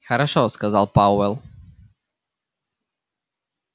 хорошо сказал пауэлл